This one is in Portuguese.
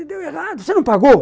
deu errado, você não pagou?